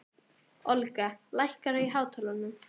Olga, lækkaðu í hátalaranum.